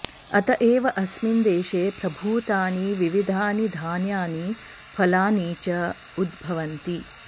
अत एव अस्मिन् देशे प्रभूतानि विविधानि धान्यानि फलानि च उद्भवन्ति